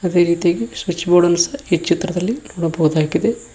ಅದೇ ರೀತಿ ಸ್ವಿಚ್ ಬೋರ್ಡನ್ನು ಸಹ ಚಿತ್ರದಲ್ಲಿ ನೋಡ್ಬಹುದಾಗಿದೆ.